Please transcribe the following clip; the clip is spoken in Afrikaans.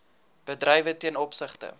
bedrywe ten opsigte